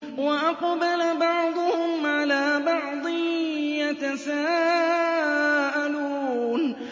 وَأَقْبَلَ بَعْضُهُمْ عَلَىٰ بَعْضٍ يَتَسَاءَلُونَ